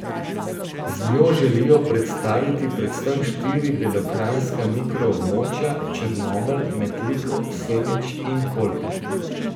Z njo želijo predstaviti predvsem štiri belokranjska mikro območja, Črnomelj, Metliko, Semič in Kolpo.